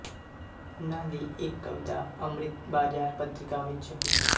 ਉਨ੍ਹਾਂ ਦੀ ਇੱਕ ਕਵਿਤਾ ਅੰਮ੍ਰਿਤ ਬਾਜ਼ਾਰ ਪਤ੍ਰਿਕਾ ਵਿੱਚ ਛਪੀ